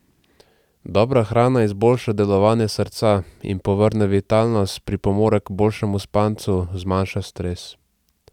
Dobra hrana izboljša delovanje srca in povrne vitalnost, pripomore k boljšemu spancu, zmanjša stres.